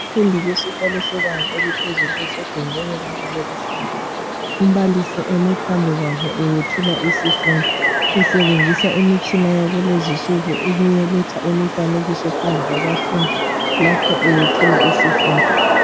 Abafundi besikolo sebanga eliphezulu besegumbini labo lokufundela. Umbalisi eme phambi kwabo eyethula isifundo usebenzisa imitshina yalezi nsuku ukuletha imifanekiso phambi kwabafundi lapho eyethula isifundo.